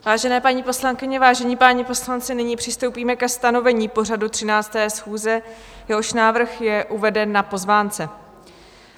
Vážené paní poslankyně, vážení páni poslanci, nyní přistoupíme ke stanovení pořadu 13. schůze, jehož návrh je uveden na pozvánce.